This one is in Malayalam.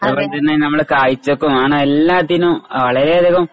കോളേജിൽ നിന്നു തന്നെ നമ്മള് കാഴ്ചപ്പ ആണ് എല്ലാത്തിന്നും വളരെയധികം